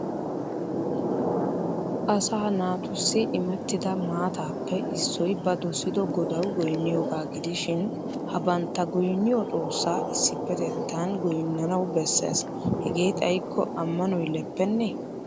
Asaa naatussi imettida maataappe issoy ba dosido godawu goyinniyogaa gidishin ha bantta goyinniyo xoossa issipetetan goyinnannawu besses. Hegee xayikko ammanoy leppenne